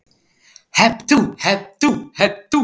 Hep tú, hep tú, hep tú.